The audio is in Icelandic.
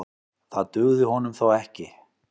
Það dugði honum þó ekki.